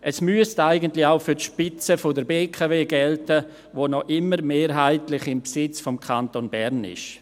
Das müsste eigentlich auch für die Spitze der BKW gelten, die noch immer mehrheitlich im Besitz des Kantons Bern ist.